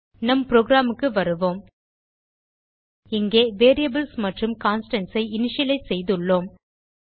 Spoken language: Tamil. நம் programக்கு வருவோம் இங்கே வேரியபிள்ஸ் மற்றும் கான்ஸ்டன்ட்ஸ் ஐ இனிஷியலைஸ் செய்துள்ளோம்